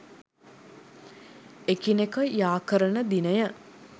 එකිනෙක යාකරන දිනය